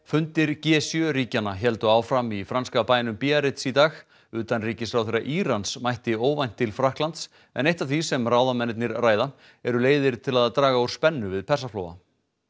fundir g sjö ríkjanna héldu áfram í franska bænum Biarritz í dag utanríkisráðherra Írans mætti óvænt til Frakklands en eitt af því sem ráðamennirnir ræða eru leiðir til að draga úr spennu við Persaflóa